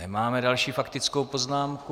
Nemáme další faktickou poznámku.